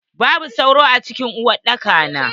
Babu sauro a cikin uwar daki na.